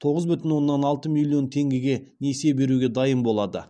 тоғыз бүтін оннан алты миллион теңгеге несие беруге дайын болады